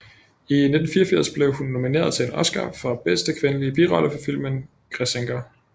I 1984 blev hun nomineret til en Oscar for bedste kvindelige birolle for filmen Græsenker